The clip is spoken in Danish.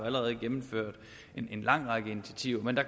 allerede gennemført en lang række initiativer men der